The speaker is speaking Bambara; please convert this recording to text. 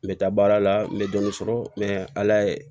N bɛ taa baara la n bɛ dɔɔnin sɔrɔ mɛ ala ye